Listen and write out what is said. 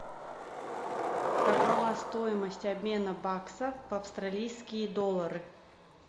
какова стоимость обмена баксов в австралийские доллары